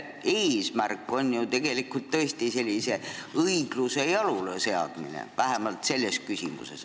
Eesmärk on ju tegelikult tõesti õigluse jaluleseadmine, vähemalt selles küsimuses.